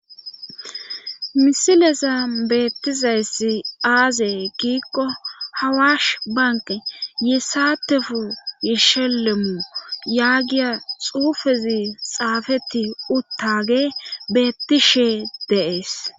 Misileza beettizayssi aazey giikko hawash banke ye saatefu yishelemu yaagiya xuufezi xaafeti uttage beetti shee deees.